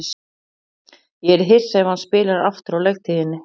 Ég yrði hissa ef hann spilar aftur á leiktíðinni.